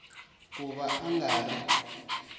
ku va a nga ri